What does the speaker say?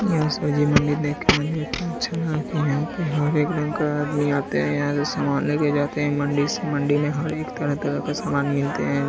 यहाँ सब्जी मंडी देख के मुझे इतना अच्छा लगा की यहाँ पे हर एक रंग का आदमी आते है यहाँ से समान लेके जाते है मंडी से मंडी में हर एक तरह-तरह का समान मिलते हैं।